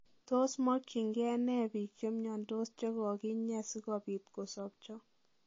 Tos mogingei nee biik chemiondos chekoginyee sikopiit kosopcho.